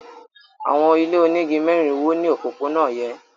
Àwọn ilé onígi mẹ́rin wó ní òpópónà yẹn.